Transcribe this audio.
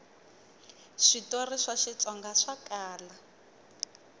switori swa xitsonga swa kala